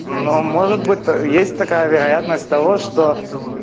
ну может быть то есть такая вероятность того что